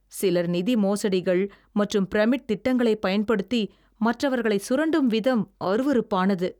சிலர் நிதி மோசடிகள் மற்றும் பிரமிட் திட்டங்களைப் பயன்படுத்தி மற்றவர்களை சுரண்டும் விதம் அருவருப்பானது.